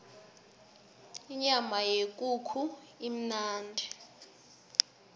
inyama yekukhu imnandi